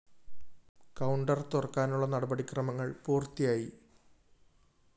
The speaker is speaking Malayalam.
കൌണ്ടർ തുറക്കാനുള്ള നടപടി ക്രമങ്ങള്‍ പൂര്‍ത്തിയായി